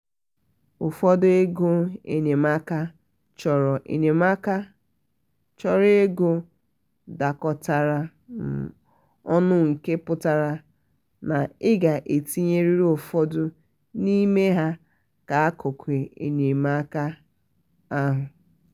ụfọdụ ego enyemaka chọrọ enyemaka chọrọ ego dakọtara um ọnụnke pụtara na ị ga-etinyerịrị ụfọdụ n'ime ya n'akụkụ enyemaka ahụ.